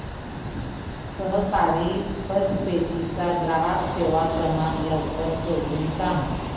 सहकारी पतपेढी चा ग्राहक सेवा क्रमांक लवकर शोधून सांग